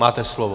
Máte slovo.